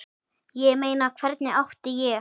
Ég meina, hvernig átti ég?